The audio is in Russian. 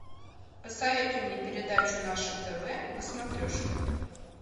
посоветуй мне передачу наше тв на смотрешке